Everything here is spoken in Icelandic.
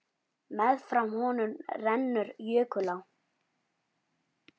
Meðfram honum rennur jökulá.